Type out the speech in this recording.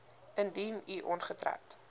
indien u ongetroud